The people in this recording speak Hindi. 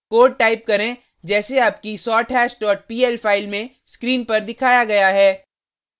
कोड टाइप करें जैसे आपकी sorthash dot pl फाइल में स्क्रीन पर दिखाया गया है